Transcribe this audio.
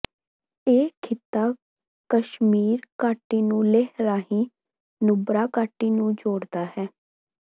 ਇਹ ਖਿੱਤਾ ਕਸ਼ਮੀਰ ਘਾਟੀ ਨੂੰ ਲੇਹ ਰਾਹੀਂ ਨੁਬਰਾ ਘਾਟੀ ਨੂੰ ਜੋੜਦਾ ਹੈ